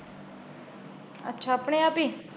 ਅੱਛਾ ਆਪਣੇ ਆਪ ਈ।